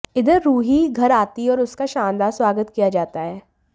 इधर रूही घर आती है और उसका शानदार स्वागत किया जाता है